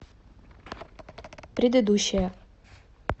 предыдущая